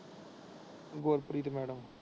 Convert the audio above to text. Gurpreet madam.